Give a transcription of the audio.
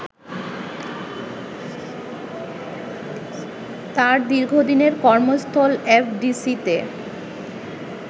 তার দীর্ঘদিনের কর্মস্থল এফডিসিতে